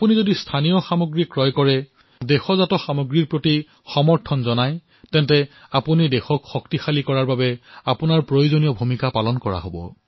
আপোনালোকে যদি থলুৱা সামগ্ৰী ক্ৰয় কৰে থলুৱা সামগ্ৰীৰ হৈ মাত মাতে তেনেহলে বুজিব যে আপোনালোকে দেশক শক্তিশালী কৰাত নিজৰ ভূমিকা পালন কৰিছে